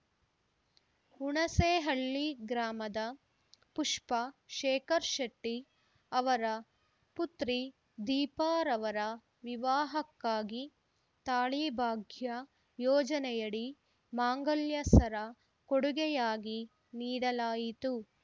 ಹುಣಸೇಹಳ್ಳಿ ಗ್ರಾಮದ ಪುಷ್ಪ ಶೇಖರ್‌ಶೆಟ್ಟಿಅವರ ಪುತ್ರಿ ದೀಪಾರವರ ವಿವಾಹಕ್ಕಾಗಿ ತಾಳಿಭಾಗ್ಯ ಯೋಜನೆಯಡಿ ಮಾಂಗಲ್ಯ ಸರ ಕೊಡುಗೆಯಾಗಿ ನೀಡಲಾಯಿತು